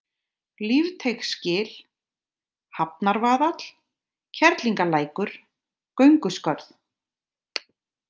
Lífteigsgil, Hafnarvaðall, Kerlingarlækur, Gönguskörð